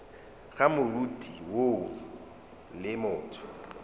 ga moriti woo le motho